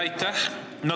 Aitäh!